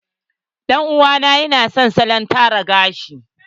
Ɗan uwa na ya na son salon tara gashi.